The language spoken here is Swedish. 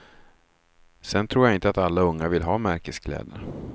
Sedan tror jag inte att alla unga vill ha märkeskläder.